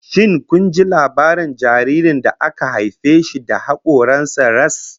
Shin kun ji labarin jaririn da aka haife shi da hakoran sa ras?